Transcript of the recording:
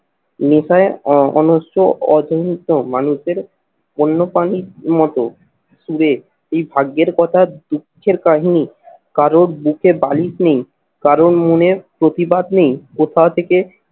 অনস্র মানুষদের বন্যপ্রাণীর মতো সুরে এই ভাগ্যের কথা দুঃখের কাহিনী কারোর বুকে বালিশ নেই কারোর মনের প্রতিবাদ নেই, কোথা থেকে